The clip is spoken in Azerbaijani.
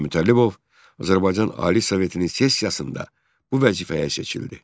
Və Mütəllibov Azərbaycan Ali Sovetinin sessiyasında bu vəzifəyə seçildi.